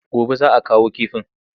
Gobe za a kawo kifin.